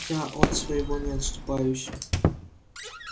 я от своего не отступаюсь